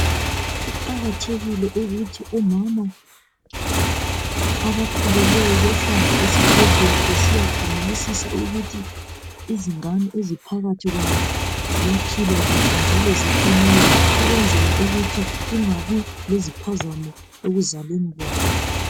Kuqakathekile ukuthi omama abakhulelweyo bahambe esibhedlela besiyakhangelisisa ukuthi izingane eziphakathi ziyaphila kuhle njalo ziqinile ukwenzela ukuthi kungabi leziphazamo ekuzalweni kwabo.